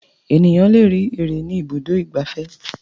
Ènìyàn le rí ère ní Ibùdó-ìgbafẹ́.